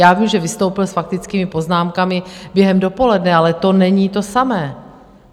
Já vím, že vystoupil s faktickými poznámkami během dopoledne, ale to není to samé.